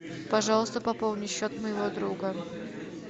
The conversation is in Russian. пожалуйста пополни счет моего друга